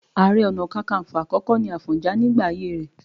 Ààrẹ Ọ̀nà Kakaǹfò àkọ́kọ́ ni Àfọ̀njá nígbà ayé rẹ̀